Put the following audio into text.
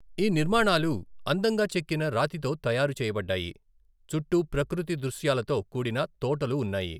ఈ నిర్మాణాలు అందంగా చెక్కిన రాతితో తయారు చేయబడ్డాయి, చుట్టూ ప్రకృతి దృశ్యాలతో కూడిన తోటలు ఉన్నాయి.